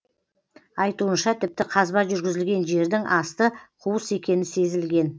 айтуынша тіпті қазба жүргізілген жердің асты қуыс екені сезілген